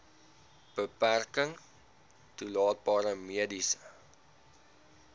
beperking toelaatbare mediese